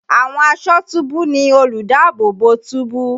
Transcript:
Àwọn aṣọ́túbú ni olùdáàbòbò túbú.